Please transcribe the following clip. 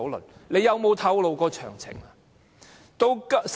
但是，政府有否透露過詳情？